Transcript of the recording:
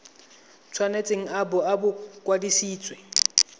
tshwanetse a bo a kwadisitswe